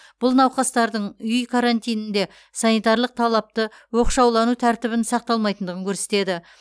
бұл науқастардың үй карантинінде санитарлық талапты оқшаулану тәртібін сақталмайтындығын көрсетеді